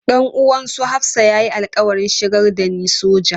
Dan uwan su Hafsah ya yi alƙawarin shigar da ni soja.